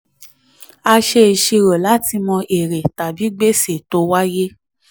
a ṣe ìṣirò láti mọ èrè tàbí gbèsè tó wáyé.